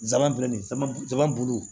Zanmali sama jama bulu